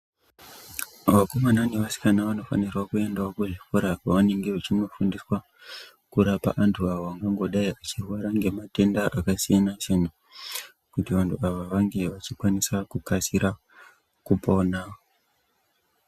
Vakomana nevasikana vanofanirwa kuendawo kuzvikora kwavanenge vachinofundiswa kurapa vantu vangangodayi vechirwara ngematenda akasiyana siyana kuti vantu ava vange vachikwanisa kukasika kupona.